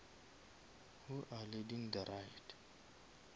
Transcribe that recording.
who are leading the right